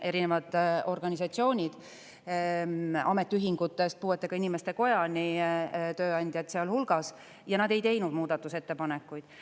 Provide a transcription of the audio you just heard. Erinevad organisatsioonid ametiühingutest puuetega inimeste kojani, tööandjad sealhulgas, ei teinud muudatusettepanekuid.